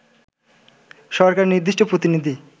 সরকারের নির্দিষ্ট প্রতিনিধি